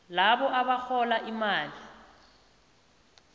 labo abarhola imali